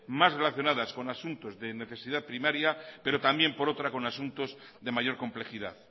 más relacionadas con asuntos de necesidad primaria pero también por otra con asuntos de mayor complejidad